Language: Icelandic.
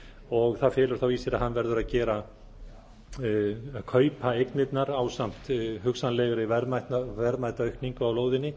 og það felur þá í sér að hann verður að kaupa eignirnar ásamt hugsanlegri verðmætaaukningu á lóðinni